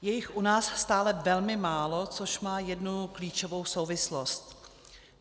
Je jich u nás stále velmi málo, což má jednu klíčovou souvislost.